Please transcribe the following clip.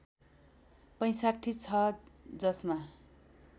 ६५ छ जसमा